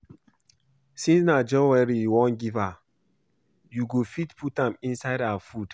Since na jewelry you wan give her, you go fit put am inside her food